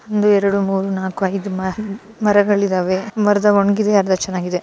ಒಂದು ಎರಡು ಮೂರೂ ನಾಲ್ಕು ಇದು ಆರು ಮರಗಳು ಇದಾವೆ ಮರಗಳು ಅರ್ಧ ಒಣಗಿವೆ ಅರ್ಧ ಚನ್ನಾಗಿದೆ.